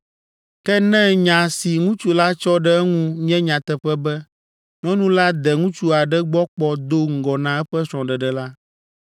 Ke ne nya si ŋutsu la tsɔ ɖe eŋu nye nyateƒe be nyɔnu la de ŋutsu aɖe gbɔ kpɔ do ŋgɔ na eƒe srɔ̃ɖeɖe la,